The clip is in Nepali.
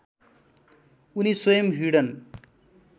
उनी स्वयं भिडन